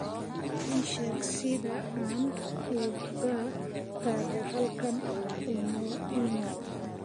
ii sheeg sida aan uga tago halkan umoina